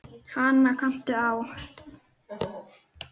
Hana kanntu á.